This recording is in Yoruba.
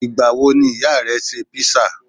Ìgbà wo ni ìyá rẹ ṣe písà?